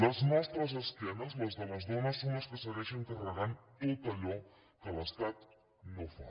les nostres esquenes les de les dones són les que segueixen carregant tot allò que l’estat no fa